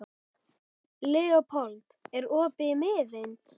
Leópold, er opið í Miðeind?